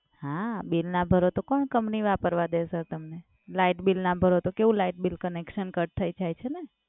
હા, બિલ ના ભરો તો કોણ company વાપરવા દે સર તમને? લાઇટ બિલ ના ભરો તો કેવું light bill connection cut થઈ જાય છે ને.